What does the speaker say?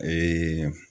Ee